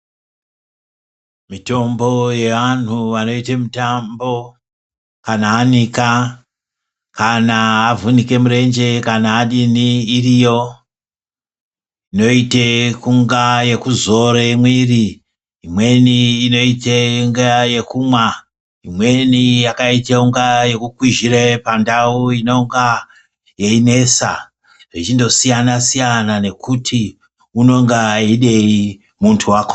Mitombo yeantu anoite mitambo kana anika kana avhunike murenje kana adini iriyo inoite kunga yekuzora mwiri , imweni inoite kunga yekumwa , imweni yakaita kunga yekukwizhire pandau inonga yeinesa zvichindosiyanasiyana nekuti unonga eidei muntu wakona.